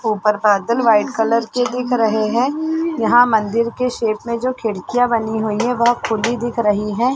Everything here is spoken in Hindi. ऊपर बादल वाइट कलर के दिख रहे है यहाँ मंदिर के शेप में जो खिड़कियाँ बनी हुई है वह खुली दिख रही है।